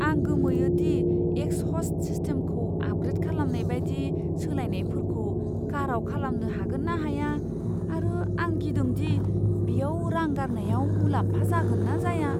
आं गोमोयो दि एक्सहस्ट सिस्टेमखौ आपग्रेद खालामनाय बायदि सोलायनायफोरखौ काराव खालामनो हागोन ना हाया आरो आं गिदों दि बेयाव रां गारनायाव मुलाम्फा जागोन ना जाया।